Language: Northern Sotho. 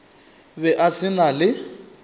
be a se na le